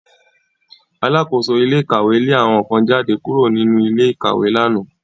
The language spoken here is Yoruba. Alákóso ilé ìkàwé lé àwọn kan jáde kúrò nínú ilé ìkàwé lánàá